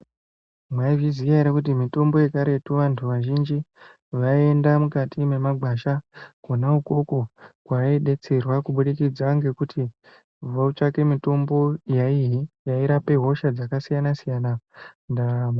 Mwaizviziya ere kuti mitombo yekaretu vantu vazhinji vaienda mukati mwemagwasha kwona ukwokwo kwaaidetserwa kubudikidza ngekuti votsvake mutombo yaiyii yairape hosha dzakasiyana siyana ndaa.